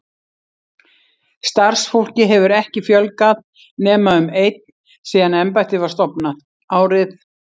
Starfsfólki hefur ekki fjölgað nema um einn síðan embættið var stofnað, árið